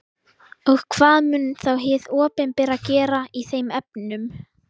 Og hvað mun þá hið opinbera gera í þeim efnum?